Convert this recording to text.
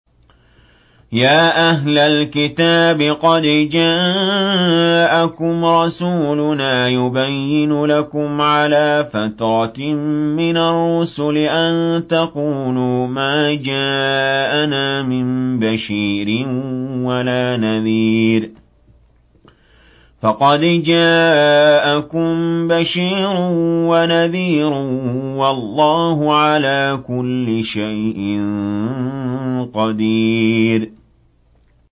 يَا أَهْلَ الْكِتَابِ قَدْ جَاءَكُمْ رَسُولُنَا يُبَيِّنُ لَكُمْ عَلَىٰ فَتْرَةٍ مِّنَ الرُّسُلِ أَن تَقُولُوا مَا جَاءَنَا مِن بَشِيرٍ وَلَا نَذِيرٍ ۖ فَقَدْ جَاءَكُم بَشِيرٌ وَنَذِيرٌ ۗ وَاللَّهُ عَلَىٰ كُلِّ شَيْءٍ قَدِيرٌ